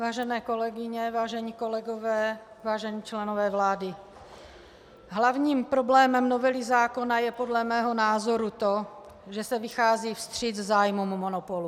Vážené kolegyně, vážení kolegové, vážení členové vlády, hlavním problémem novely zákona je podle mého názoru to, že se vychází vstříc zájmům monopolu.